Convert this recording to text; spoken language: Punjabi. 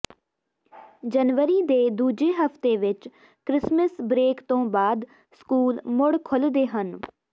ਜਨਵਰੀ ਦੇ ਦੂਜੇ ਹਫ਼ਤੇ ਵਿੱਚ ਕ੍ਰਿਸਮਸ ਬ੍ਰੇਕ ਤੋਂ ਬਾਅਦ ਸਕੂਲ ਮੁੜ ਖੁੱਲ੍ਹਦੇ ਹਨ